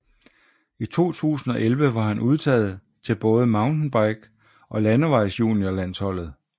I 2011 var han udtaget til både MTB og landevejsjuniorlandsholdet